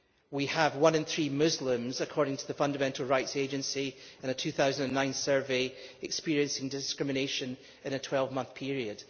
We have one in three Muslims, according to the Fundamental Rights Agency in a 2009 survey, experiencing discrimination in a 12-month period.